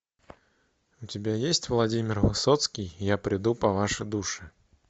у тебя есть владимир высоцкий я приду по ваши души